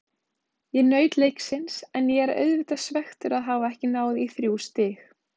Ég naut leiksins en ég er auðvitað svekktur að hafa ekki náð í þrjú stig.